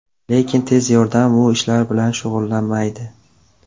Lekin tez yordam bu ishlar bilan shug‘ullanmaydi.